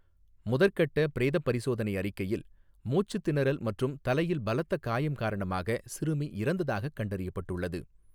முதற்கட்ட பிரேதப் பரிசோதனை அறிக்கையில், மூச்சுத்திணறல் மற்றும் தலையில் பலத்த காயம் காரணமாக சிறுமி இறந்ததாகக் கண்டறியப்பட்டுள்ளது.